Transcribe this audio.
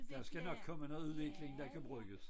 Der skal nok komme noget udvikling der kan bruges